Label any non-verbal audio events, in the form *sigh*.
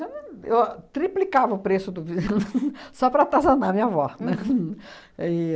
*unintelligible* Eu a triplicava o preço do ves *laughs* só para atazanar a minha avó, né? *laughs* E